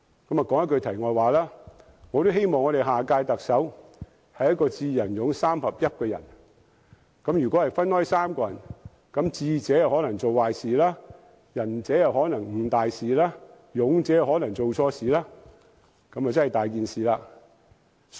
說一句題外話，我希望下任特首是一個"智、仁、勇"三合一的人，如果分開3個人，智者可能做壞事，仁者可能誤大事，勇者可能做錯事，這樣便真的"大件事"！